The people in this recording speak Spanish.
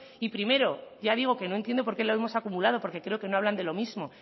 y primero ya digo que no entiendo por qué lo hemos acumulado porque creo que no hablan de lo mismo